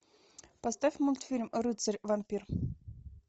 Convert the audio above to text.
поставь мультфильм рыцарь вампир